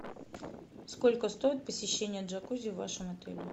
сколько стоит посещение джакузи в вашем отеле